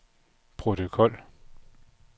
protokol